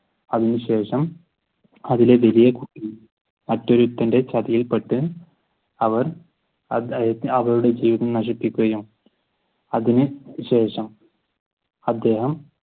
അതിനുശേഷം അതിലെ വലിയ കുട്ടി മറ്റൊരുത്തന്റെ ചതിയിൽ പെട്ട് അവർ അവളുടെ ജീവിതം നശിപ്പിക്കുകയും അതിനു ശേഷം അദ്ദേഹം